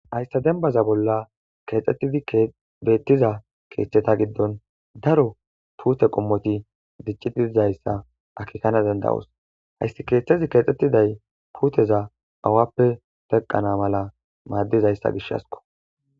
ayssa dembaza bolla keexxettidi beettiza keeththeta giddon daro puute qommoti diccitidizayssa akikana dandawos hayssi keeththezi keexxetiday puuteza awappe teqqana mala maaddizayssa gishhasko